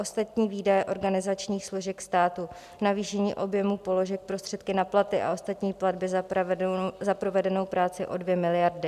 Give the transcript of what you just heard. Ostatní výdaje organizačních složek státu navýšení objemu položek Prostředky na platy a ostatní platby za provedenou práci o 2 miliardy.